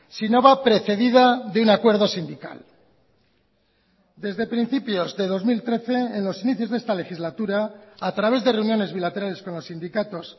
si no va precedida de un acuerdo sindical desde principios de dos mil trece en los inicios de esta legislatura a través de reuniones bilaterales con los sindicatos